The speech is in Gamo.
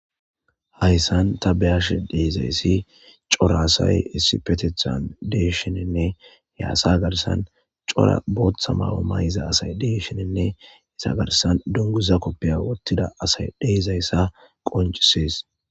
hayssan ta be'ashe deezayssi cora asay issi petethan deeshininne ye asa garsan cora booththa ma7o may7iza asay deeshininne esa garsan dunguza koppeya wottida asay deezayssa qoncisees.